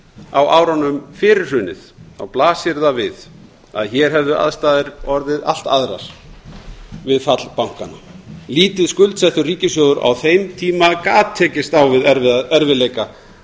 á árunum fyrir hrunið þá blasir það við að hér hefðu aðstæður orðið allt annað við fall bankanna lítið skuldsettur ríkissjóður gat tekist á við erfiðleika